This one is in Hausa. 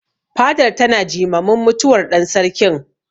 Fadar tana jimamin mutuwar ɗan Sarkin.